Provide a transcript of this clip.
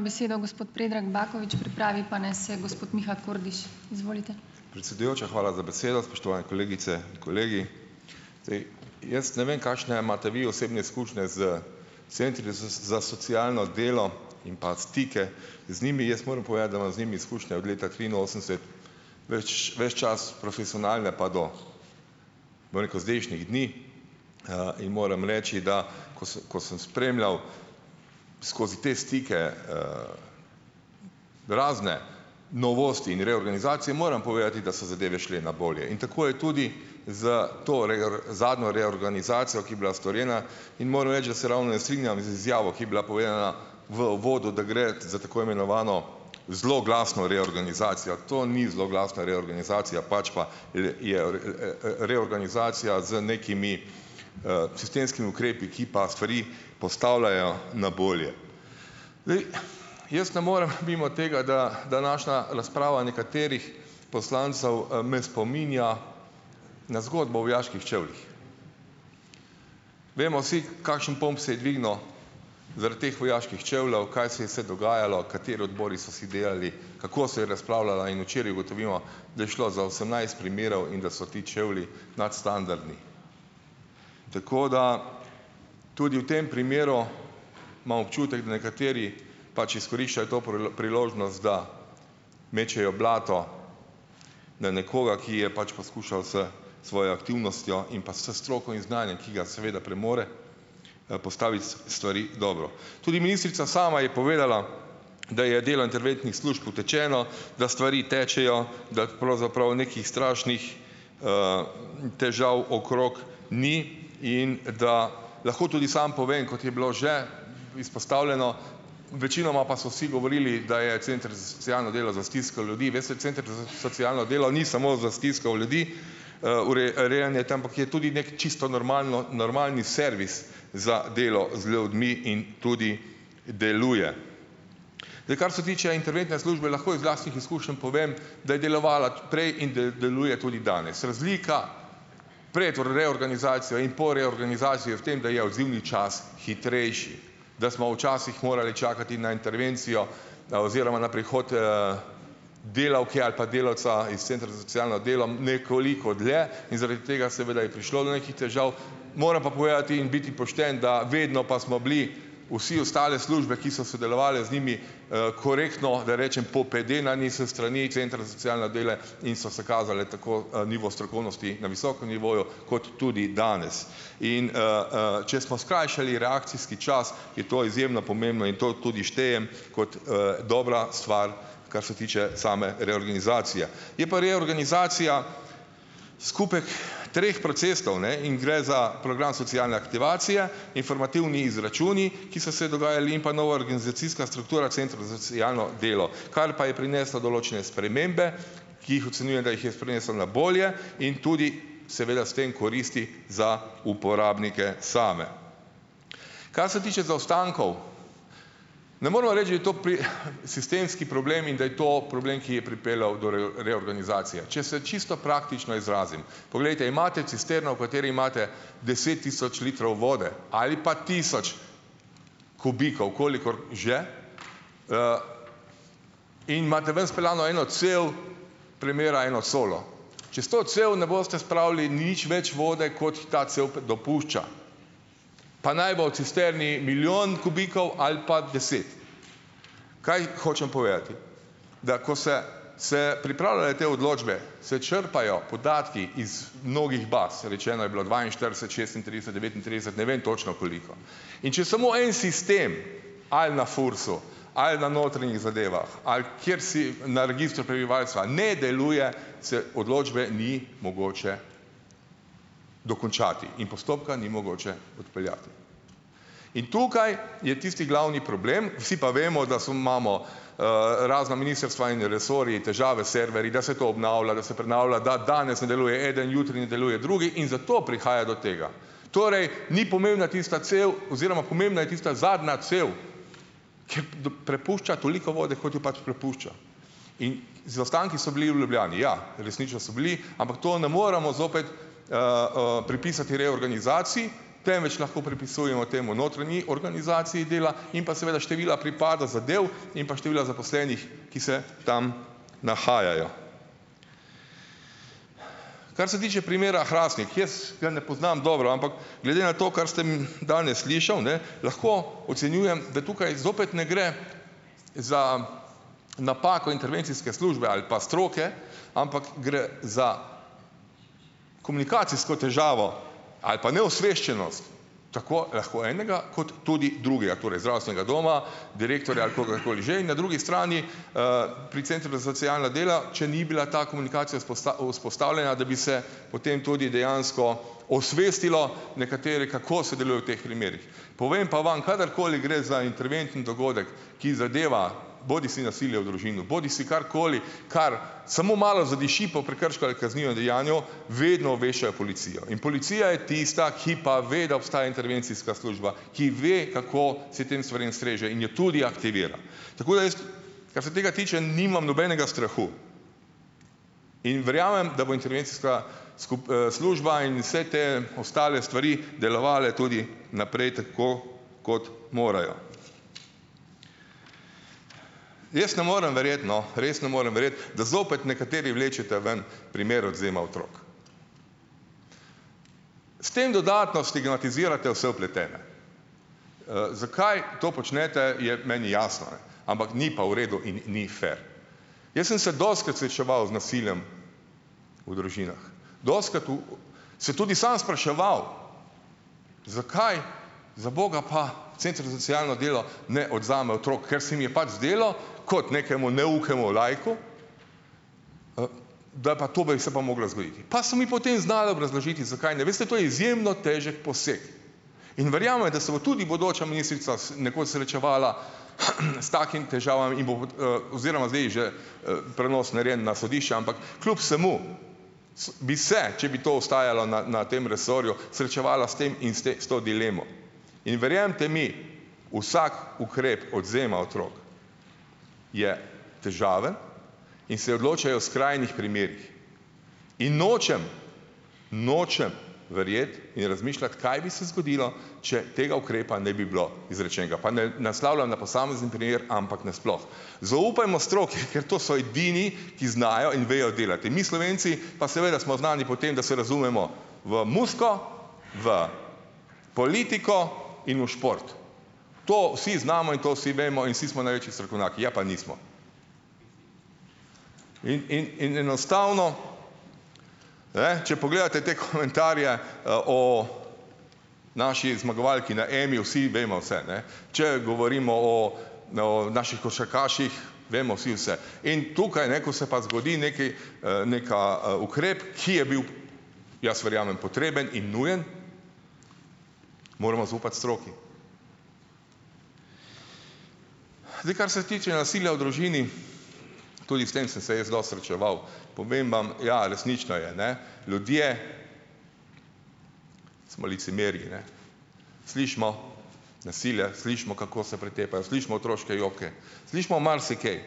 Besedo gospod Predrag Bakovič, pripravi pa naj se gospod Miha Kordiš. Izvolite. Predsedujoča, hvala za besedo, spoštovane kolegice in kolegi. Zdaj, jaz ne vem, kakšne imate vi osebne izkušnje s centri za socialno delo in pa stike z njimi. Jaz moram povedati, da imam z njimi izkušnje od leta triinosemdeset. Več, ves čas profesionalnega pa do veliko zdajšnjih dni in moram reči, da ko s, ko sem spremljal skozi te stike razne novosti in reorganizacije, moram povedati, da so zadeve šle na bolje in tako je tudi za to zadnjo reorganizacijo, ki je bila storjena, in moram reči, da se ravno ne strinjam z izjavo, ki je bila povedana v uvodu, da gre za tako imenovano zloglasno reorganizacijo. To ni zloglasna reorganizacija, pač pa je reorganizacija z nekimi sistemskimi ukrepi, ki pa stvari postavljajo na bolje. Zdaj jaz ne morem mimo tega, da današnja razprava nekaterih poslancev me spominja na zgodbo vojaških čevljih. Vemo vsi, kakšen pomp se je dvignil zaradi teh vojaških čevljev, kaj se je vse dogajalo, kateri odbori so se delali, kako se je razpravljala, in včeraj ugotovimo, da je šlo za osemnajst primerov in da so ti čevlji nadstandardni. Tako da tudi v tem primeru imam občutek, da nekateri pač izkoriščajo to priložnost, da mečejo blato na nekoga, ki je pač poskušal s svojo aktivnostjo in pa s stroko in znanjem, ki ga seveda premore, da postavi stvari dobro. Tudi ministrica sama je povedala, da je delo interventnih služb utečeno, da stvari tečejo, da pravzaprav nekih strašnih težav okrog ni, in da lahko tudi samo povem, kot je bilo že izpostavljeno, večinoma pa so vsi govorili, da je center za socialno delo za stisko ljudi, veste, center z socialno delo ni samo za stisko v ljudi, urejanje tam, ampak je tudi neki čisto normalno, normalni servis za delo z ljudmi in tudi deluje. Da kar se tiče interventne službe, lahko iz lastnih izkušenj povem, da je delovala tudi prej in da deluje tudi danes. Razlika pred reorganizacijo in po reorganizaciji je v tem, da je odzivni čas hitrejši. Da smo včasih morali čakati na intervencijo oziroma na prihod delavke ali pa delavca iz centra za socialno delo nekoliko dlje in zaradi tega, seveda, je prišlo do nekih težav, moram pa povedati in biti pošten, da vedno pa smo bili vsi ostale službe, ki so sodelovale z njimi, korektno, da ne rečem, popedenani s strani centra za socialne dele in so se kazale tako nivo strokovnosti na visokem nivoju, kot tudi danes. In če smo skrajšali reakcijski čas, je to izjemno pomembno in to tudi štejem kot dobra stvar, kar se tiče same reorganizacije. Je pa reorganizacija skupek treh procesov, ne, in gre za program socialne aktivacije, informativni izračuni, ki so se dogajali in pa nova organizacijska struktura centrov za socialno delo, kar pa je prineslo določene spremembe, ki jih ocenjuje, da jih je prinesel na bolje, in tudi seveda s tem koristi za uporabnike same. Kar se tiče zaostankov. Ne moramo reči, da je to sistemski problem in da je to problem, ki je pripeljal do reorganizacije. Če se čisto praktično izrazim, poglejte, imate cisterno, v kateri imate deset tisoč litrov vode ali pa tisoč kubikov, kolikor že, in imate ven speljano eno cev, premera eno colo. Čez to cev ne boste spravili nič več vode, kot ta cev dopušča. Pa naj bo v cisterni milijon kubikov ali pa deset. Kaj hočem povedati? Da ko se se pripravljale te odločbe, se črpajo podatki iz mnogih baz, rečeno je bilo dvainštirideset, šestintrideset, devetintrideset, ne vem točno, koliko. In če samo en sistem, ali na FURS-u, ali na notranjih zadevah, ali kjer si na registru prebivalstva, ne deluje, se odločbe ni mogoče dokončati. In postopka ni mogoče odpeljati. In tukaj je tisti glavni problem, vsi pa vemo, da imamo razna ministrstva in resorji težave serverji, da se to obnavlja, da se prenavlja, da danes ne deluje eden, jutri ne deluje drugi in zato prihaja do tega. Torej, ni pomembna tista cev oziroma pomembna je tista zadnja cev, ki prepušča toliko vode, kot jo pač prepušča. In zaostanki so bili v Ljubljani, ja, resnično so bili, ampak to ne moramo zopet pripisati reorganizaciji, temveč lahko pripisujemo temu notranji organizaciji dela in pa seveda števila pripada zadev in pa števila zaposlenih, ki se tam nahajajo. Kar se tiče primera Hrastnik, jaz ga ne poznam dobro, ampak glede na to, kar sem danes slušal, ne, lahko ocenjujem, da tukaj zopet ne gre za napako intervencijske službe ali pa stroke, ampak gre za komunikacijsko težavo, ali pa neosveščenost. Lahko, lahko enega, kot tudi drugega, torej zdravstvenega doma, direktorja, kogarkoli že in na drugi strani, pri centru za socialno delo, če ni bila ta komunikacija vzpostavljena, da bi se o tem tudi dejansko osvestilo nekatere, kako se deluje v teh primerih. Povem pa vam, kadarkoli gre za interventen dogodek, ki zadeva bodisi nasilje v družini bodisi karkoli, kar samo malo zadiši po prekršku ali kaznivem dejanju, vedno obveščajo policijo. In policija je tista, ki pa ve, da obstaja intervencijska služba, ki ve, kako se tem stvarem streže in je tudi aktivira. Tako da jaz, kar se tega tiče, nimam nobenega strahu. In verjamem, da bo intervencijska služba in vse te ostale stvari delovale tudi naprej tako, kot morajo. Jaz ne morem verjeti, no, res ne morem verjeti, da zopet nekateri vlečete ven primer odvzema otrok. S tem dodatno stigmatizirate vse vpletene. zakaj to počnete, je meni jasno, ne. Ampak ni pa v redu in ni fer. Jaz sem se dostikrat srečeval z nasiljem v družinah. Dostikrat se tudi sam spraševal, zakaj zaboga pa center za socialno delo ne odvzame otrok, ker se mi je pač zdelo, kot nekemu neukemu laiku, da pa tobek se pa mogla zgoditi. Pa so mi potem znali obrazložiti, zakaj ne. Veste, to je izjemno težek poseg. In verjame, da se bo tudi bodoča ministrica nekoč srečevala s takimi težavami in bo, oziroma zdaj že prenos narejeno na sodišče, ampak kljub vsemu bi se, če bi to ostajalo na, na tem resorju, srečevala s tem in s to dilemo. In verjemite mi, vsak ukrep odvzema otrok je težaven in se odločajo v skrajnih primerih. In nočem, nočem verjeti in razmišljati, kaj bi se zgodilo, če tega ukrepa ne bi bilo izrečenega. Pa ne naslavljam na posamezen primer, ampak nasploh. Zaupajmo stroki, ker to so edini, ki znajo in vejo delati. Mi Slovenci pa seveda smo znani po tem, da se razumemo v muziko, v politiko in v šport. To vsi znamo in to vsi vemo in vsi smo največji strokovnjaki. Ja, pa nismo. In, in, in enostavno, ne, če pogledate te komentarje o naši zmagovalki na Emi, vsi vemo vse, ne. Če govorimo o, o naših košarkaših, vemo vsi vse. In tukaj, ne, ko se pa zgodi nekaj, neka ukrep, ki je bil, jaz verjamem potreben in nujen, moramo zaupati stroki. Zdaj, kar se tiče nasilja v družini, tudi s tem sem se jaz dosti srečeval, povem vam, ja resnično je, ne. Ljudje smo licemeri, ne. Slišimo nasilja, slišimo, kako se pretepajo, slišimo otroške joke, slišimo marsikaj,